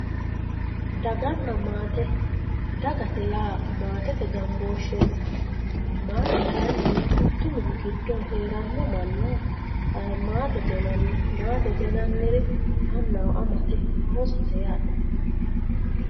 Daaganna maatte daagatte yaa maattette gaanbishetti maatte kaayinni mittu minni giddo heerano manna maattette yinanni mattette yinaniri annaho ammatte ossotte yaatte